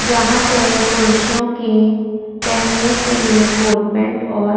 यहाँ पर पुरुषो के पेहेने के लिए कोट पेंट और --